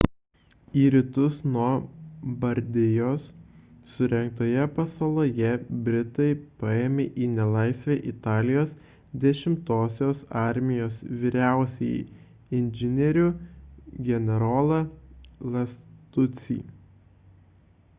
į rytus nuo bardijos surengtoje pasaloje britai paėmė į nelaisvę italijos 10-osios armijos vyriausiąjį inžinierių generolą lastuccį